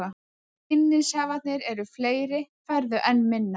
Ef vinningshafarnir eru fleiri færðu enn minna.